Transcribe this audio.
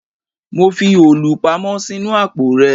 Mo fi òòlù pamọ́ sínú àpò rẹ